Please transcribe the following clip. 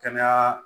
Kɛnɛya